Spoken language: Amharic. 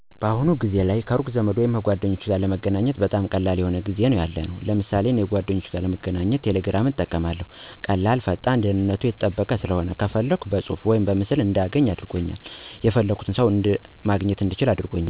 በአሁኑ ጊዜ ላይ ሠው ከሩቅ ዘመድ ሆነ ጓደኛው ጋር ለመገናኘት በጣም ቀላል የሆ ጊዜ ላይ ነው ያለነው። ለምሳሌ እኔ ከ ጓደኞቼ ጋር ለመገናኘት ቀላል እና ፈጣን በሆነው ቴሌግራም በሚባል መገናኛ መስመር እጠቀማለሁ። ቴሌግራም አሪፍ ፍጥነት እና ደንነቱ የተጠበቀ ሲሆን ከፈለኩ በፁሁፍ ወይም በምስል ማግኘት እንድችል አድርጎኛል። ቀላል እና ፈጣን በመሆኑ የፈለኩት ሠው ማግኘት እንድችል አድርጎኛል።